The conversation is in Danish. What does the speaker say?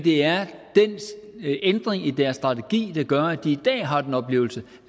er den ændring i deres strategi der gør at de i dag har den oplevelse